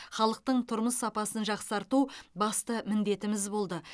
халықтың тұрмыс сапасын жақсарту басты міндетіміз болды